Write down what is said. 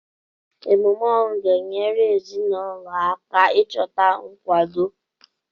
Emume ọnwụ ga-enyere ezinụlọ aka ịchọta nkwado.